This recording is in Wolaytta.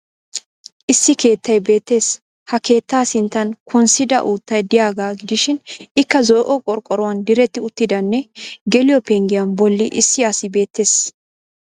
Issi keettay beettees ha keettaa sinttan konssida uuttay de'iyagaa gidishin Ikka zo"o qorqqoruwan diretti uttidanne geliyo penggiya bolli issi asi beettees.